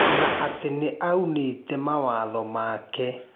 Na atĩ nĩaunĩte mawatho make.